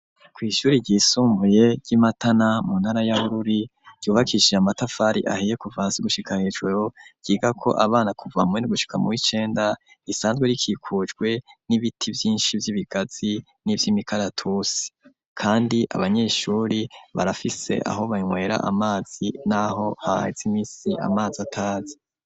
Kw'ishure ryisumbuye ry'Imatana, mu ntara ya Bururi, ryubakishije amatafari ahiye kuva hasi gushika hejuru, ryigako abana kuva muw'indwi gushika muw'icenda, risanzwe rikikujwe n'ibiti vyinshi vy'ibigazi nivy'imikaratusi. Kandi abanyeshure barafise aho banywera amazi naho haheze imisi amazi ataza.